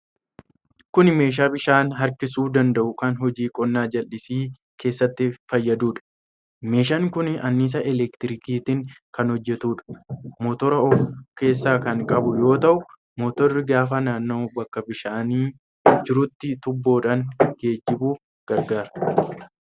Kun meeshaa bishaan harkisuu danda'u kan hojii qonnaa jallisii keessatti fayyaduudha. Meeshaan kun annisaa elektirikiitiin kan hojjetuudha. Mootora of keessaa kan qabu yoo ta'u, motorri gaafa naanna'u bakka bishaanni jiruuti tuubboodhaan geejjibuuf gargaara.